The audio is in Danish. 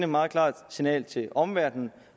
meget klart signal til omverdenen